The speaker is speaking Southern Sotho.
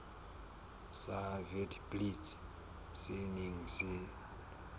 sa witblits se neng se